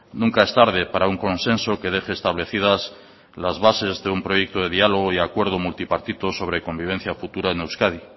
nunca es tarde para un consenso que deje establecidas las bases de un proyecto de diálogo y acuerdo multipartito sobre convivencia futura en euskadi